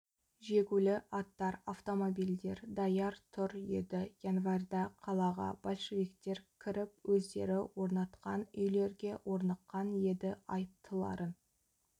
жегулі аттар автомобильдер даяр тұр еді январьда қалаға большевиктер кіріп өздері орнатқан үйлерге орныққан еді айыптыларын